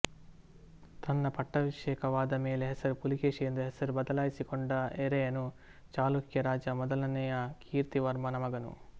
ತನ್ನ ಪಟ್ಟಾಭಿಷೇಕವಾದ ಮೇಲೆ ಹೆಸರು ಪುಲಿಕೇಶಿ ಎಂದು ಹೆಸರು ಬದಲಾಯಿಸಿಕೊಂಡ ಎರೆಯನು ಚಾಲುಕ್ಯ ರಾಜ ಮೊದಲನೆಯ ಕೀರ್ತಿವರ್ಮನ ಮಗನು